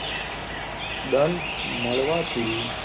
દંડ મળવા થી,